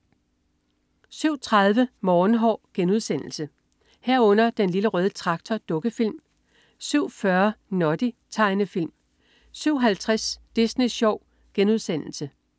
07.30 Morgenhår* 07.30 Den Lille Røde Traktor. Dukkefilm 07.40 Noddy. Tegnefilm 07.50 Disney Sjov*